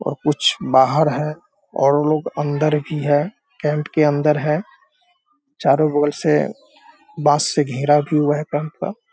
और कुछ बाहर हैं और लोग अंदर भी हैं टेन्ट के अंदर हैं। चारो बगल से बांस से घेरा भी हुआ है टेन्ट का।